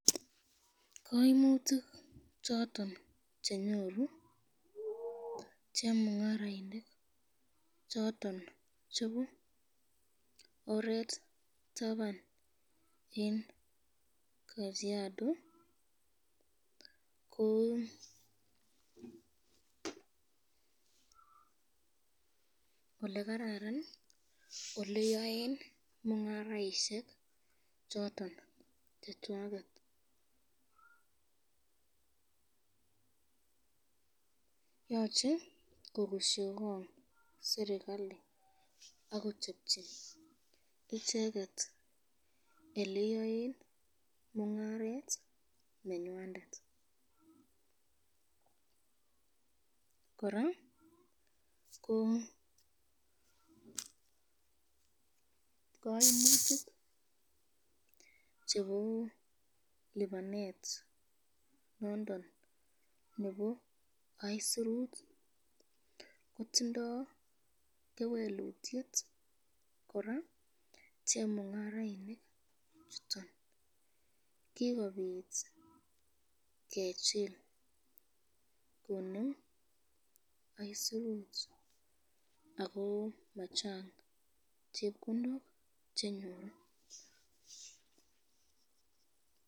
Kaimutik choton chenyoru chemungarainik choton chebo oret taban eng kajiado, ko olekararan eng oleaen mungaroshek choton chechwaket, yoche kokusyikong serikali akochepchi icheket oleyoe mungaret nenywandet, koraa ko kaimutik chebo lipanet nondon nebo isurut kotindo kewelutyet koraa chemungarainik choton, kikobit kechil konem isurut ako machang chepkondok chenyoru.